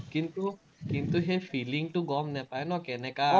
কিন্তু, কিন্তু, সেই feeling টো গম নাপাই নহয়, কেনেকা